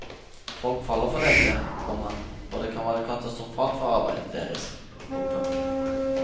Folk faller for dette, komma og det kan være katastrofalt for arbeidet deres. punktum